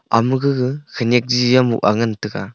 ama gaga khanyak chiji jau moh aa ngantaga.